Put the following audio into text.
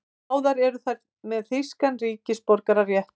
Báðar eru þær með þýskan ríkisborgararétt